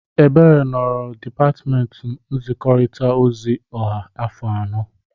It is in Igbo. Ebere nọrọ na dịpatmenti nzikọrịta ozi ọha afọ anọ.